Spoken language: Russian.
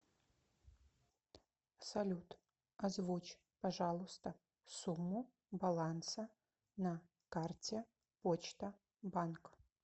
салют озвучь пожалуйста сумму баланса на карте почта банк